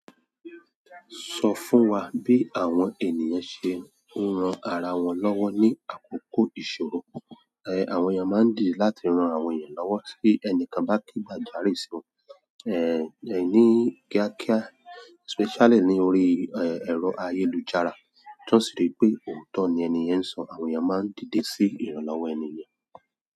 Sọ fún wa bí àwọn ènìyàn ṣe ń ran ara wọn lọ́wọ́ ní àkókò ìṣòro. Ehn, àwọn èèyàn máa ń dì láti ran àwọn èèyàn lọ́wọ́ tí ẹnìkan bá ke gba jàre si won, eh, ní kíákíá, especially ní orí, eh, ẹ̀rọ ayélujára. Tó sì rí pé òótọ́ ni ẹni yẹn ń sọ, àwọn ènìyàn máa ń dìde sí ìrànlọ́wọ́ ẹni yẹn.